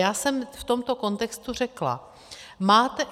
Já jsem v tomto kontextu řekla: máte...